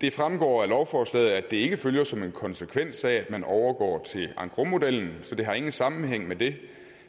det fremgår af lovforslaget at det ikke følger som konsekvens af at man overgår til engrosmodellen så det har ingen sammenhæng med det